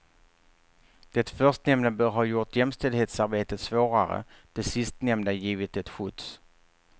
Det förstnämnda bör ha gjort jämställdhetsarbetet svårare, det sistnämnda givit det skjuts.